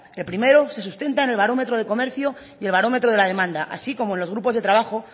el primero se sustenta en el barómetro de comercio y el barómetro de la demanda así como en los grupos de trabajo